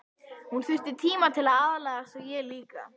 Hún þyrfti tíma til að aðlagast og ég líka.